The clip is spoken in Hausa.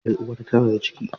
Yar uwarku tana da ciki?